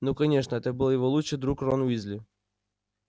ну конечно это был его лучший друг рон уизли